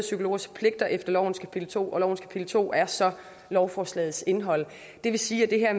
psykologers pligter efter lovens kapitel to og lovens kapitel to er så lovforslagets indhold det vil sige at